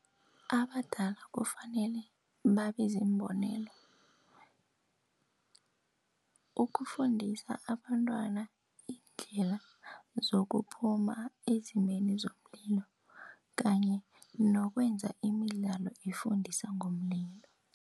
Abadala kufanele babe ziimbonelo, ukufundisa abantwana iindlela zokuphuma ezimeni zomlilo, kanye nokwenza imidlalo ifundisa ngomlilo.